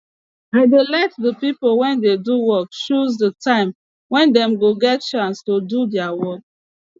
i dey let de pipo wey dey do work chose de time wey dem go get chance to do deir work